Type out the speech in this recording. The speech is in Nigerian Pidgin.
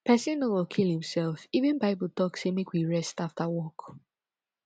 person no go kill him self even bible talk say make we rest after work